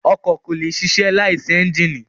Ọkọ̀ kò lè ṣiṣẹ́ láìsí ẹ́ńjínì.